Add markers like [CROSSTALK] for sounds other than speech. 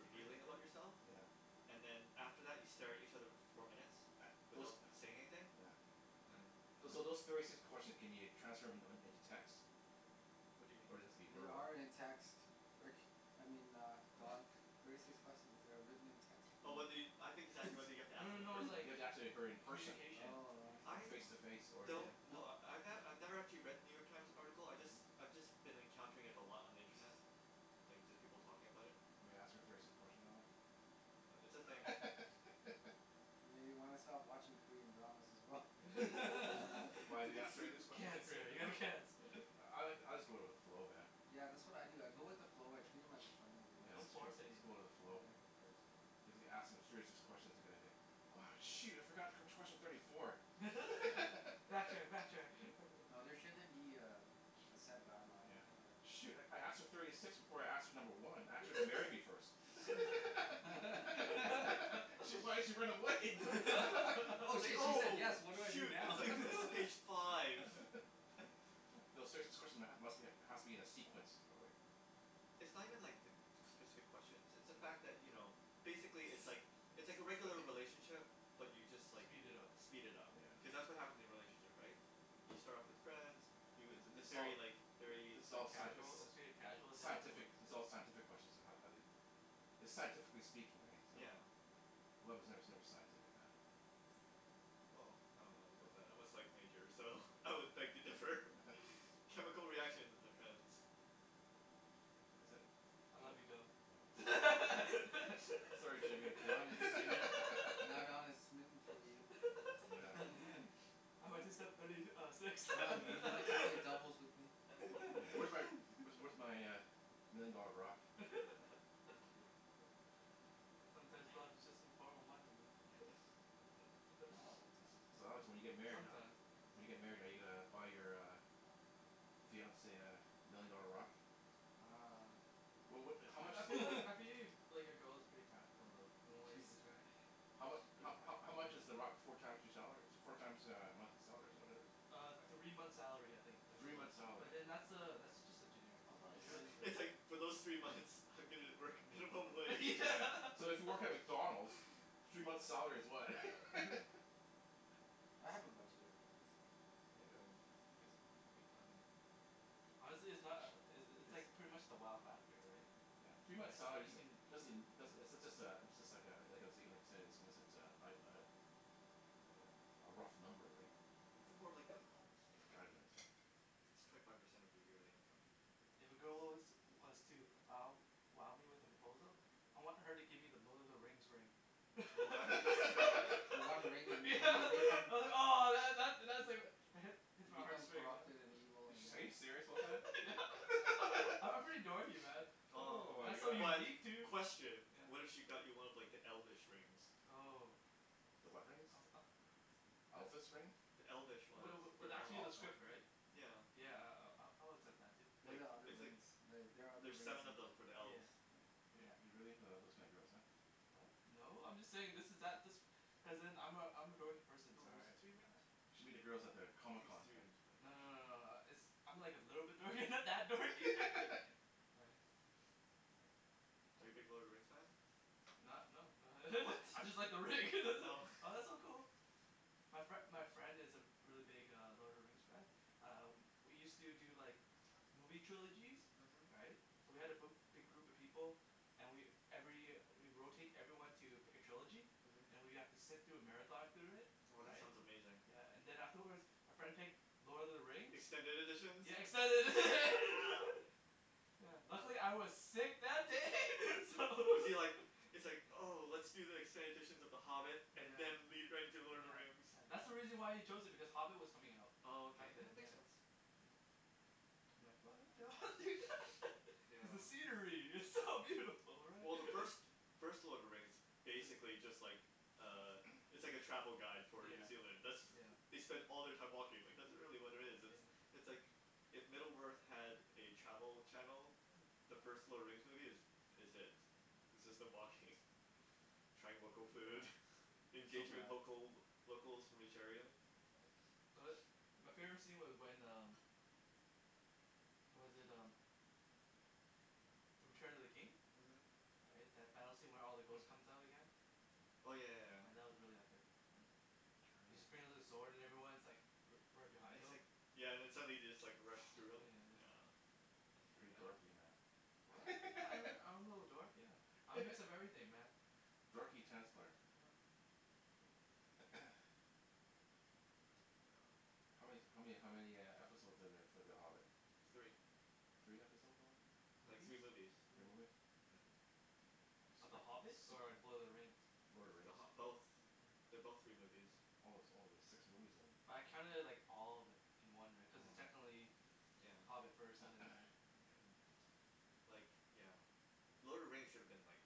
deeper and deeper about yourself. yeah yeah And then after that you stare at each other for four minutes [NOISE] those without saying anything [NOISE] yeah And [NOISE] Those umm so those thirty six questions can you transfer them in into text? What do you mean? Or does it have be They verbal? are in text. Rick, I mean uh Don [LAUGHS] thirty six question. they are written in text for Oh well, you I I think he's asking whether you have [LAUGHS] to No ask them no in no Do person. you like have to ask he- her co- in person? communication Oh I see. I Face to face or one yeah? wel- yeah don't wel- kno- I ne- I've never actually read the New York Times article I Hmm jus- hmm I've just been encountering it a lot on the internet. Like just people Hm talking about it. I'm gonna ask her thirty six questions Alex. But it's a thing. [LAUGHS] Maybe you wanna stop watching Korean dramas as well. Yeah. [LAUGHS] Why do they ask thirty six [LAUGHS] [LAUGHS] questions in Korean cancer you have dram- ? cancer. [NOISE] I like I'll just go with the flow man. Yeah yeah that's what I do I go with the yeah. [INAUDIBLE] flow I [NOISE] treat them as a friend and it Yeah, [NOISE] works yeah don't its true force just anything, go with the yeah you flow. don't Yeah. have to force it. Because if you ask them thirty six questions you're gonna do "oh shoot I forgot wh- which question's thirty four". [LAUGHS] [LAUGHS] backtrack backtrack, backtrack. No there shouldn't be um a set [NOISE] guideline Yeah. on Yeah. how to Shoot I I asked her thirty six before I asked her number one, I asked her to marry me [LAUGHS] first. [LAUGHS] [LAUGHS] [LAUGHS] [LAUGHS] shit why'd she run away? [LAUGHS] [LAUGHS] oh it's like shit she said oh yes [LAUGHS] what do I do shoot it's now like this is page [LAUGHS] five. uh-huh [LAUGHS] [NOISE] No serious- this question must be has to be in a sequence probably. It's not even like the [NOISE] specific questions it's the fact that Hm you know basically it's like [NOISE] it's It's like a all regular right. relationship but you just like, Speed it up. Yeah. speed it up Yeah. Cuz that's what happens in relationship right? You start off as friends you, yeah thi- it's this is all very like very this is like all sci- casual superficial. it's a casual sci- the scientific this is all [INAUDIBLE] scientific question on how how they It's scientifically speaking right, so? Yeah. Love is ne- never scientific man. Well I don't know about that, I'm a psych major so I would beg to differ, [LAUGHS] chemical reactions my friends. uh-huh Is it? I love you Ca- Don. no fo [LAUGHS] Sorry Jimmy I'm taken. Don is smi- now Don is [LAUGHS] smitten [LAUGHS] for you. [NOISE] Yeah. [LAUGHS] [LAUGHS] I went to [INAUDIBLE] step thirty uh six [LAUGHS] Don would you Yeah. like to play doubles with me? Yeah where's where's [LAUGHS] where's my million dollar rock? [LAUGHS] hm Sometimes love is just in form of money man Yeah. [LAUGHS] Not all the [LAUGHS] time. So Alex when you get Yeah married how- sometimes When you get married are [INAUDIBLE] uh-huh you uh gonna buy your uh fiance uh million dollar rock? uh Well no what how I much? I feel like [LAUGHS] I [LAUGHS] feel like your girl is pretty practical though from what She uh you described. How yeah she's mu- pretty how how practical. how much is the rock four times your salary? Four times uh a monthly salary is that what it is? uh Three three months' months' salary. salary. I'll probably spend It's like for those three months I'm gonna work minimum wage. Yeah [LAUGHS] so if you work at McDonalds [LAUGHS] three months' salary is what? [LAUGHS] [LAUGHS] I have a budget already. Yeah. Oh good That's fine. good planning. Honestly it's not uh uh [NOISE] it's it's pretty much the wow factor right. yeah yeah three months' right so salary you can doesn't doesn't uh does- it's just a it's just like uh like I said like I like I said a a was it uh uh a rough number right They're more like guidelines guidelines right It's twenty five percent of your yearly income. Yeah. If a girl was was to wow wow me with a [NOISE] proposal I want her to give me the Lord of the Rings ring [LAUGHS] Oh that'd be insane [LAUGHS] yeah [INAUDIBLE] ahh that that's Hmm hits You my heart become straight corrupted and evil and Ar- are you yeah serious [INAUDIBLE] [LAUGHS] yeah [LAUGHS] I'm [LAUGHS] pretty dorky man Ohh Oh That's so my but God. unique too question, what if yeah. she got you one of like the elfish [NOISE] rings? Oh The what rings? I was ah uh that's Elvis rings? yeah The elfish ones, wa- for was the elves, actually in Oh the script elvish right? yeah. yeah I- I'll- I'll accept that too. They're Like the other it's like rings the- they are other there's rings seven of in them the for the elves. yeah yeah You're yeah you're really into uh those kinds of girls huh? what? no. I'm just saying this is that this cuz then I'm a I'm a dorky person [INAUDIBLE] No is it three rings? ah You should meet the girls at the I Comic think it's Con three thing. rings for the no no elves. no no uh it's I'm like a little bit dorky [LAUGHS] not that dorky [LAUGHS] [LAUGHS] right. right Are you big Lord of the Rings fan? Not no not What? [LAUGHS] I just like the ring [LAUGHS] that it Oh oh that's so cool my fri- my friend is a re- really big Lord of the Rings fan ah we use to do like movie trilogies, uh-huh. right so we had a bi- big group of people and we every we rotate everyone to pick a trilogy uh-huh. and we have to sit through a marathon through it Oh that right sounds amazing. yeah and then afterwards our friend picked Lord of the Rings Extended editions? Yeah extended edi- [LAUGHS] Yeah. yeah luckily I was sick that day [LAUGHS] so [LAUGHS] Was he like, it's like oh let's do the extended editions of the Hobbit and yeah. then lead right into Lord of the yeah Rings. yeah that's Hmm why he chose it because Hobbit was coming out Oh okay, back then that makes yeah. sense hm I'm like fuck [INAUDIBLE] [LAUGHS] yeah because the scenery is so [LAUGHS] beautiful right Well the first [LAUGHS] first Lord of the Rings is be- basically just like uh It's [NOISE] like a travel guide for New yeah Zealand, that's yeah they spend all their time walking, like that's really what it is yeah it's like if Middle Earth had a travel channel Hm the first Lord of the Rings movie is is it Hmm it's just them walking trying local food, yeah that's so engaging with bad local locals from each area. yeah tho- my favorite scene was when um was that um The Return of the King uh-huh right that battle scene where all the ghost comes [NOISE] out again yeah oh yeah yeah yeah yeah that was really epic [INAUDIBLE] He just brings out his [INAUDIBLE] sword and everyone's like righ- right And behind he's him like, yeah and then somebody just like runs through him, put yeah just yeah. That's pretty Pretty bad. dorky what? man yeah I'm [LAUGHS] I'm a little dork yeah I'm a mix of [LAUGHS] everything man Dorky tennis player yup [NOISE] [NOISE] yeah how man- how many how many uh episode are there for The Hobbit? Three. Three episode only Like movies. three movies. three Three movies movi- Yeah yeah. Of The Hobbit or Lord of the Rings? [INAUDIBLE] Lord of the The RIngs Hobbi- both, oh they're both three movies. yeah Oh oh there's six movies yeah, then but I counted it like all of it in one right cuz it's Oh yeah technically yeah Hobbit first and then right [NOISE] but yeah [NOISE] yeah Like yeah. Lord of the Rings should've been like